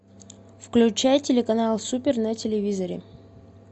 включай телеканал супер на телевизоре